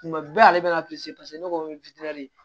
Tuma bɛɛ ale bɛ na ne ko ko